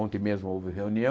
Ontem mesmo houve reunião.